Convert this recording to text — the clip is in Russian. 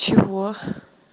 чего